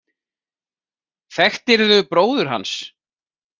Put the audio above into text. Þekktirðu bróður hans?